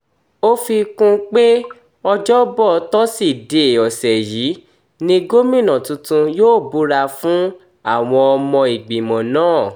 ó fi kún un pé ọjọ́bọ tọ́sídẹ̀ẹ́ ọ̀sẹ̀ yìí ni gómìnà tuntun yóò búra fún àwọn ọmọ ìgbìmọ̀ náà